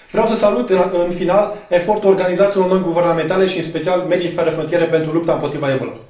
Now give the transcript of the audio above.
Vreau să salut, în final, efortul organizațiilor non guvernamentale, în special Medici fără frontiere, pentru lupta împotriva Ebola.